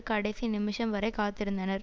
கடைசி நிமிஷம் வரை காத்திருந்தனர்